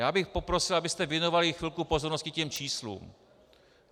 Já bych poprosil, abyste věnovali chvilku pozornosti těm číslům.